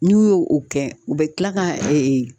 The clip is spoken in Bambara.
N'u y'o o kɛ u bɛ tila ka